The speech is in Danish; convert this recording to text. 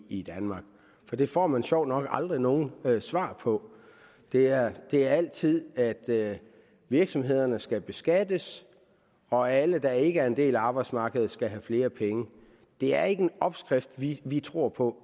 i danmark for det får man sjovt nok aldrig nogen svar på det er er altid at at virksomhederne skal beskattes og at alle der ikke er en del af arbejdsmarkedet skal have flere penge det er ikke en opskrift vi vi tror på